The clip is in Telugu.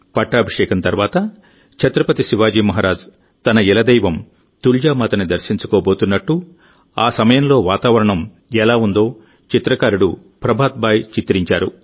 పట్టాభిషేకం తర్వాత ఛత్రపతి శివాజీ మహారాజ్ తన కులదైవం తుల్జా మాతని దర్శించుకోబోతున్నట్టు ఆ సమయంలో వాతావరణం ఎలా ఉందో చిత్రకారుడు ప్రభాత్ భాయ్ చిత్రించారు